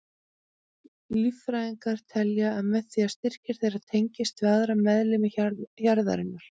Líffræðingar telja að með því styrki þeir tengslin við aðra meðlimi hjarðarinnar.